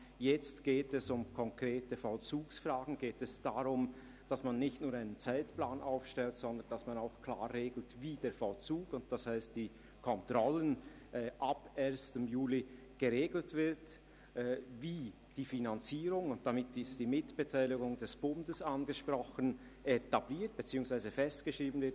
Jetzt geht es um konkrete Vollzugsfragen und darum, nicht nur einen Zeitplan aufzustellen, sondern auch zu regeln, wie der Vollzug – das heisst die Kontrollen – ab 1. Juli 2018 geregelt wird, wie die Finanzierung, also die Mitbeteiligung des Bundes, etabliert beziehungsweise festgeschrieben wird.